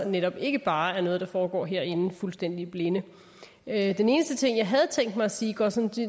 netop ikke bare noget der foregår herinde fuldstændig i blinde den eneste ting jeg havde tænkt mig at sige går sådan